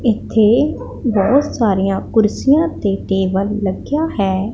ਇਥੇ ਬਹੁਤ ਸਾਰੀਆਂ ਕੁਰਸੀਆਂ ਤੇ ਟੇਬਲ ਲੱਗਿਆ ਹੈ।